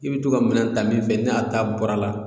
I bɛ to ka minɛn ta min fɛ n'a ta bɔra a la